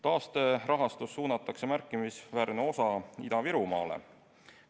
Taasterahastust suunatakse märkimisväärne osa Ida-Virumaale.